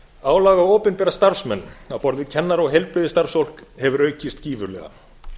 álag á opinbera starfsmenn á borð við kennara og heilbrigðisstarfsfólk hefur aukist gífurlega